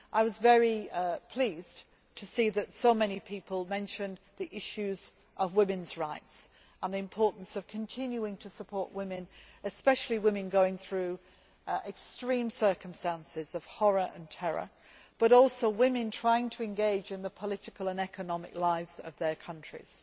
I was very pleased to see that so many people mentioned the issues of women's rights and the importance of continuing to support women, especially women going through extreme circumstances of horror and terror, but also women trying to engage in the political and economic lives of their countries.